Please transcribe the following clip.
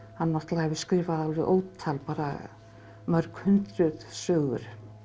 hann náttúrulega hefur skrifað ótal mörg hundruð sögur